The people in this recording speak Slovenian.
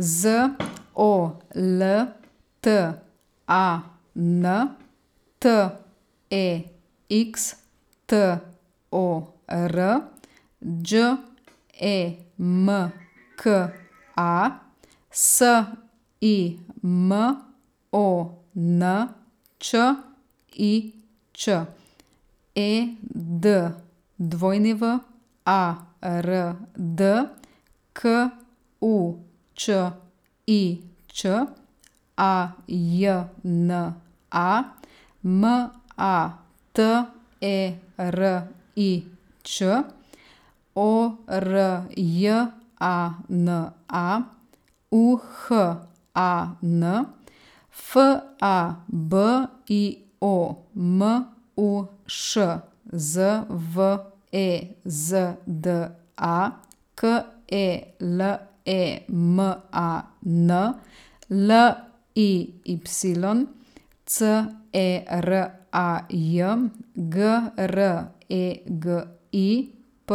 Z O L T A N, T E X T O R; Đ E M K A, S I M O N Č I Č; E D W A R D, K U Č I Č; A J N A, M A T E R I Ć; O R J A N A, U H A N; F A B I O, M U Š; Z V E Z D A, K E L E M A N; L I Y, C E R A J; G R E G I, P